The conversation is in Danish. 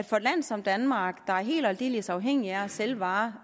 for et land som danmark der er helt og aldeles afhængig af at sælge varer